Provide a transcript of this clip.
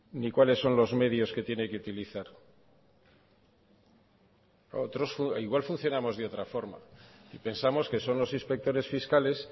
ni cuáles son los medios que tiene que utilizar igual funcionamos de otra forma y pensamos que son los inspectores fiscales